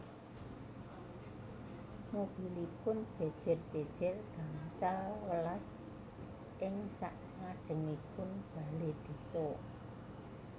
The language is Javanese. Mobilipun jejer jejer gangsal welas ing sak ngajengipun bale desa